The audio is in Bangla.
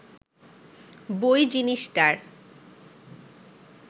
বই জিনিসটার